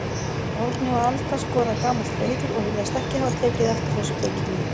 Árni og Alda skoða gamalt hreiður og virðast ekki hafa tekið eftir þessu bauki mínu.